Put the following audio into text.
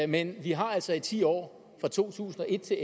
men vi har altså i ti år fra to tusind og et til